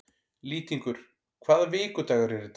Lýtingur, hvaða vikudagur er í dag?